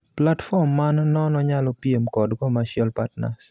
Platform man nono nyalo piem kod commercial partners.